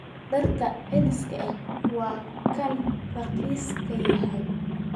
Dharka celiska ah waa ka raqiisan yihiin.